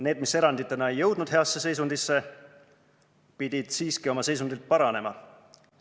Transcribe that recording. Need, mis eranditena ei jõudnud heasse seisundisse, pidid siiski oma seisundilt paranema.